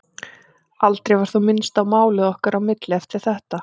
Aldrei var þó minnst á málið okkar á milli eftir þetta.